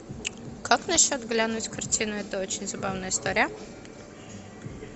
как насчет глянуть картину это очень забавная история